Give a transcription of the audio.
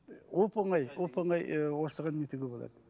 оп оңай оп оңай і осыған нетуге болады